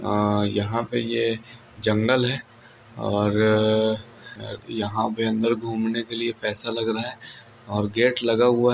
हां यहां पर यह जंगल है और गेट लगा हुआ है